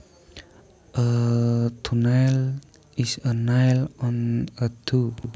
A toenail is a nail on a toe